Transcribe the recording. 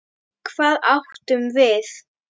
Hvað átum við?